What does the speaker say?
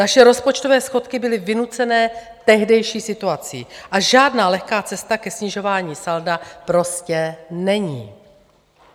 Naše rozpočtové schodky byly vynucené tehdejší situací a žádná lehká cesta ke snižování salda prostě není.